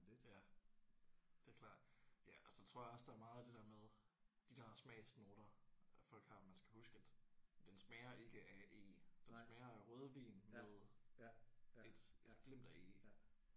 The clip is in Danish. Ja det er klart. Ja og så tror jeg også der er meget af det der med de der smagsnoter at folk har at man skal huske at den smager ikke af eg den smager af rødvin med et et glimt af eg